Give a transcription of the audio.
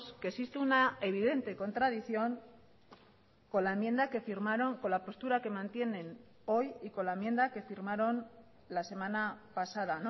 que existe una evidente contradicción con la enmienda que firmaron con la postura que mantienen hoy y con la enmienda que firmaron la semana pasada